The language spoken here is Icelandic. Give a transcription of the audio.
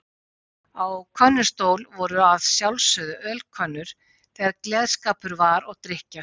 Á könnustól voru að sjálfsögðu ölkönnur þegar gleðskapur var og drykkja.